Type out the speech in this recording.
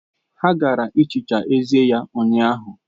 Ha gaara ehicha eze ya ụnyahụ.